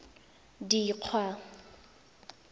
dikgwa